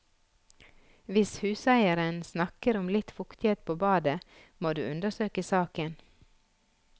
Hvis huseieren snakker om litt fuktighet på badet, må du undersøke saken.